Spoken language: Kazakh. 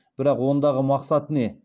бірақ ондағы мақсат не